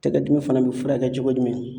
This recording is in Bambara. Tɛgɛ dimi fana bi furakɛ cogo jumɛn